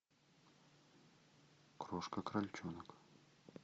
крошка крольчонок